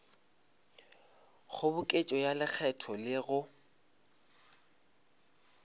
kgoboketšo ya lekgetho le go